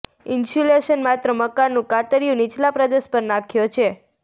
insulation માત્ર મકાનનું કાતરિયું નીચલા પ્રદેશ પર નાખ્યો છે